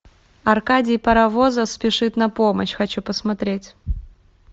аркадий паровозов спешит на помощь хочу посмотреть